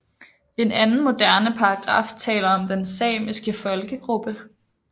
En anden moderne paragraf taler om den samiske Folkegruppe